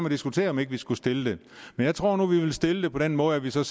og diskutere om ikke vi skulle stille det men jeg tror nu vi vil stille det på den måde at vi så